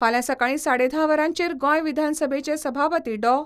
फाल्यां सकाळी साडे धा वरांचेर गोंय विधानसभेचे सभापती डॉ.